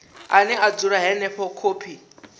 ane a dzula henefho khophi